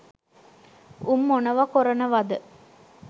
උන් මොනව කොරනවද